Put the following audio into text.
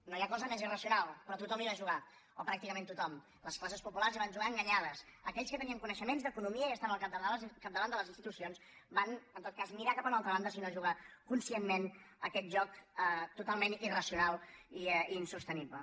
no hi ha cosa més irracional però tothom hi va jugar o pràcticament tothom les classes populars hi van jugar enganyades aquells que tenien coneixements d’economia i estaven al capdavant de les institucions van en tot cas mirar cap a una altra banda si no jugar conscientment a aquest joc totalment irracional i insostenible